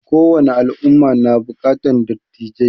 Ko wani al'umma na buƙatar dattijai